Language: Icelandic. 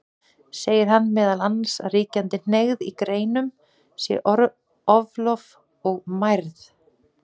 Segir hann meðal annars að ríkjandi hneigð í greinunum sé oflof og mærð.